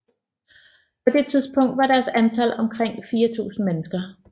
På det tidspunkt var deres antal omkring 4000 mennesker